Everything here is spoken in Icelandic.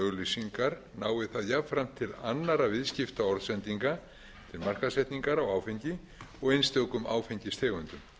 auglýsingar nái það jafnframt til annarra viðskiptaorðsendinga til markaðssetningar á áfengi og einstökum áfengistegundum